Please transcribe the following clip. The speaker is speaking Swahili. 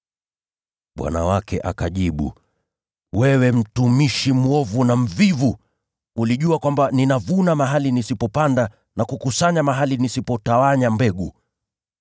“Bwana wake akajibu, ‘Wewe mtumishi mwovu na mvivu! Ulijua kwamba ninavuna mahali nisipopanda na kukusanya mahali nisipotawanya mbegu.